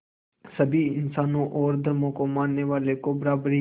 सभी इंसानों और धर्मों को मानने वालों को बराबरी